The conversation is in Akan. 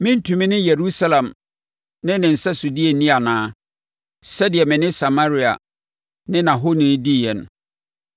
Merentumi ne Yerusalem ne ne nsɛsodeɛ nni anaa, sɛdeɛ mene Samaria ne nʼahoni diiɛ no?’ ”